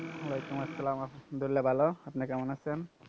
ওয়ালাইকুমসসালাম। আলহামদুলিল্লাহ ভালো, আপনি কেমন আছেন?